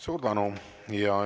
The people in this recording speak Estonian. Suur tänu!